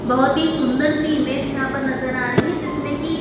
बहोत ही सुंदर सी इमेज नज़र आ रही है जिसमें की--